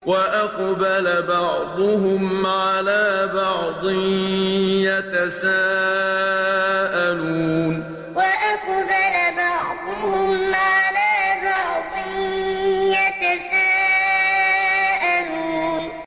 وَأَقْبَلَ بَعْضُهُمْ عَلَىٰ بَعْضٍ يَتَسَاءَلُونَ وَأَقْبَلَ بَعْضُهُمْ عَلَىٰ بَعْضٍ يَتَسَاءَلُونَ